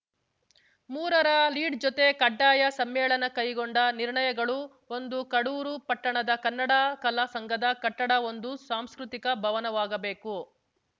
ಮೂರರ ಲೀಡ್‌ ಜೊತೆ ಕಡ್ಡಾಯ ಸಮ್ಮೇಳನ ಕೈಗೊಂಡ ನಿರ್ಣಯಗಳು ಒಂದು ಕಡೂರು ಪಟ್ಟಣದ ಕನ್ನಡ ಕಲಾ ಸಂಘದ ಕಟ್ಟಡ ಒಂದು ಸಾಂಸ್ಕೃತಿಕ ಭವನವಾಗಬೇಕು